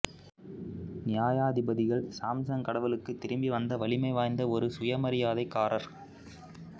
நியாயாதிபதிகள் சாம்சன் கடவுளுக்குத் திரும்பி வந்த வலிமை வாய்ந்த ஒரு சுயமரியாதைக்காரர்